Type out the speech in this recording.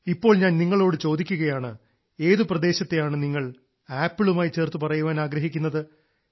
ഇപ്പോൾ ഞാൻ നിങ്ങളോട് ചോദിക്കുകയാണ് ഏതു പ്രദേശത്തെയാണ് നിങ്ങൾ ആപ്പിളുമായി ചേർത്തു പറയാൻ ആഗ്രഹിക്കുന്നത്